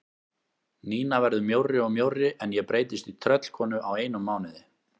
Nína verður mjórri og mjórri en ég breytist í tröllkonu á einum mánuði.